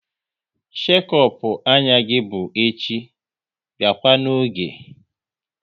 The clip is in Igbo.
Shekop anya gị bụ echi, biakwa n'oge!